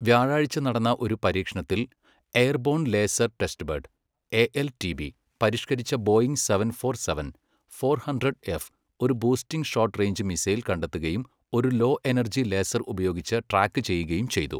വ്യാഴാഴ്ച നടന്ന ഒരു പരീക്ഷണത്തിൽ എയർബോൺ ലേസർ ടെസ്റ്റ്ബെഡ് എ.എൽ.ടി.ബി, പരിഷ്കരിച്ച Boeing seven four seven, four hundred F, ഒരു ബൂസ്റ്റിംഗ് ഷോട്ട് റേഞ്ച് മിസൈൽ കണ്ടെത്തുകയും ഒരു ലോ എനർജി ലേസർ ഉപയോഗിച്ച് ട്രാക്ക് ചെയ്യുകയും ചെയ്തു.